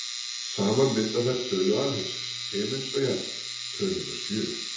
Saman mynda þær tölu alheimsins, himins og jarðar, töluna sjö.